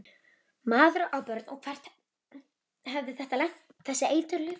Maður á börn og hvert hefði þetta lent, þessi eiturlyf?